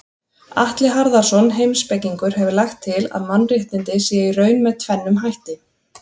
Atli Harðarson heimspekingur hefur lagt til að mannréttindi séu í raun með tvennum hætti.